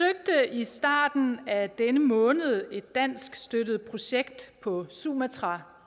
i starten af denne måned et dansk støttet projekt på sumatra